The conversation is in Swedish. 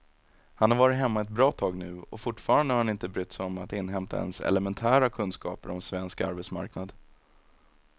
Han har varit hemma ett bra tag nu och fortfarande har han inte brytt sig om att inhämta ens elementära kunskaper om svensk arbetsmarknad.